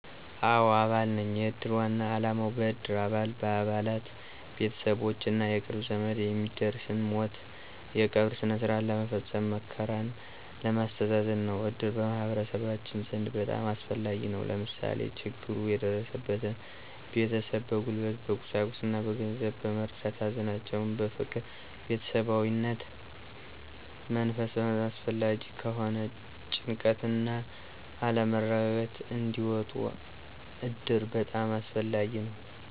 አዎ አባል ነኝ። የእድር ዋና አላማው በእድሩ አባላት፣ በአባላት፣ ቤተሠቦች እና የቅርብ ዘመድ የሚደርስን ሞት የቀብር ስነስርዓት ለመስፈፀም፣ መከራን ለማስተዛዘን ነው። እድር በማህበረሠባችን ዘንድ በጣም አስፈላጊ ነው። ለምሳሌ፦ ችግሩ የደረሠበትን ቤተሠብ በጉልበት፣ በቁሳቁስ እና በገንዘብ በመርዳዳት ሀዘናቸውን በፍቅር በቤተሠባዊነት መንፈስ በማፅናናት አላስፈላጊ ከሆነ ጭንቀት እና አለመረጋጋት እንዲወጡ እድር በጣም አስፈላጊ ነው